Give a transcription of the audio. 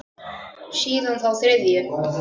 Síðan þá þriðju.